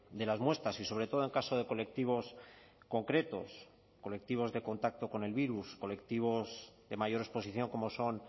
de las muestras y sobre todo en caso de colectivos concretos colectivos de contacto con el virus colectivos de mayor exposición como son